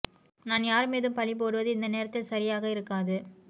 நான் யார் மீதும் பழி போடுவது இந்த நேரத்தில் சரியாக இருக்காது